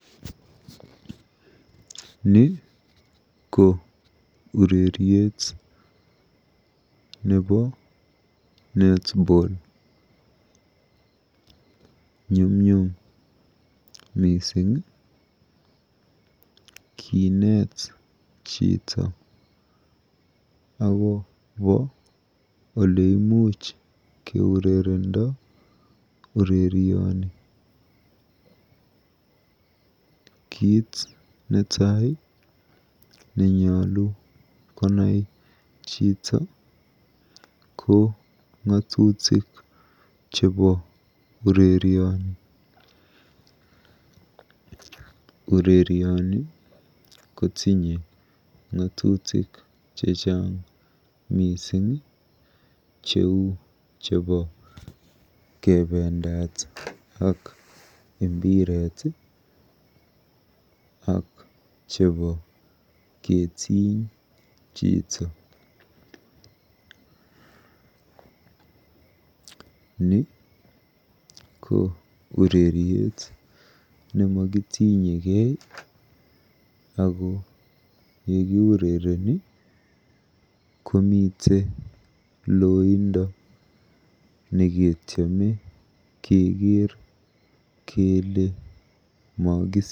Ni ko ureriet nebo Netball. Nyumnyum mising kineet chito akobo oleimuch keurerendo urerioni. Kiit netai nenyolu konai chito ko ng'atutik chebo urerioni. Urerioni kotinye ng'atutik chechang cheu chebo kebendat ak mbiret ak nebo ketiny chito. Ni ko ureriet nemakitinyekei ako yekiurereni komi loindo neketiame keker kele mokisiir.